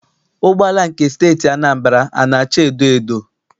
Ụgbọala nke Steeti Anambra ana acha edoedo?